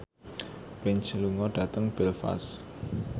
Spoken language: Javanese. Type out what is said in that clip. Prince lunga dhateng Belfast